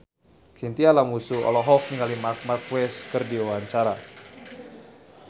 Chintya Lamusu olohok ningali Marc Marquez keur diwawancara